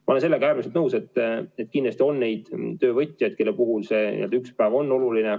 Ma olen sellega väga nõus, et kindlasti on neid töövõtjaid, kelle puhul see üks päev on oluline.